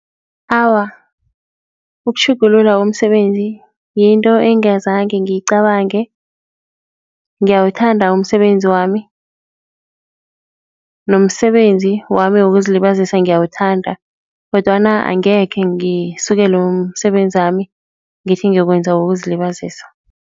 Awa, ukutjhugulula komsebenzi yinto engazange ngiyicabange ngiyawuthanda umsebenzi wami, nomsebenzi wami wokuzilibazisa ngiyawuthanda kodwana angekhe ngisukele umsebenzami ngithi ngiyokwenza wokuzilibazisa.